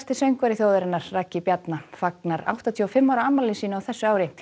söngvari þjóðarinnar Ragnar Bjarnason fagnar áttatíu og fimm ára afmæli sínu á þessu ári